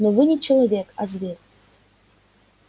но вы не человек а зверь